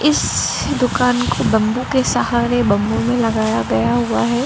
इस दुकान को बंबू के सहारे बंबू में लगाया गया हुआ है।